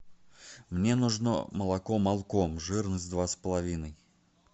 мне нужно молоко молком жирность два с половиной